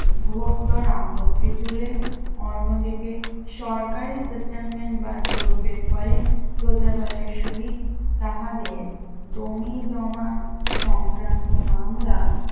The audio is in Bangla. ঘোরতর আপত্তি তুলে অন্যদিকে সরকারের settlement বা জরিপের ফলে প্রজাদলের সহিত তাহাদের জমিজমা সংক্রান্ত মামলা